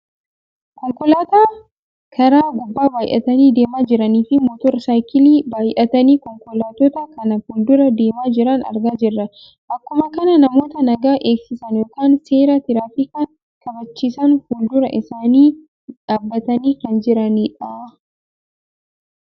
Konkolaattota karaa gubbaa baayyatanii deemaa jiraniifi motor saayikilii baayyatanii konkolaattota kana fuuldura deemaa jiran argaa jirra. Akkuma kana namoota nagaa eegsisa yookaan seera tiraafikaa kabachiisan fuuldura isaanii dhaabbatanii kan jiranidha.